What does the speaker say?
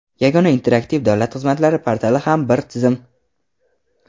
Yagona interaktiv davlat xizmatlari portali ham bir tizim.